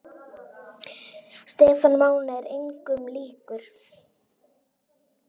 Stefán Máni er engum líkur.